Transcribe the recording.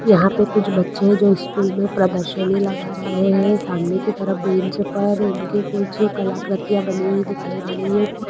यहां पे कुछ बच्चे है जो स्कूल मे प्रदर्शनी लगा रहे है सामने की तरफ बेंच पर उनकी कुछ कलाकृतियाँ बनी हुई दिखाई दे रही है।